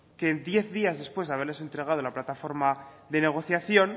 que diez días después de haberles entregado la plataforma de negociación